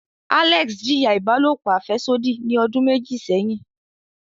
Alex jiya ibalopo afẹsodi ni odun meji seyin.